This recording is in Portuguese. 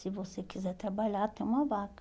Se você quiser trabalhar, tem uma vaga.